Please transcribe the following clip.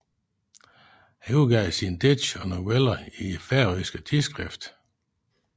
Han udgav sine digte og noveller i færøske tidsskrift